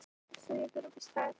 Aftur og nýbúinn.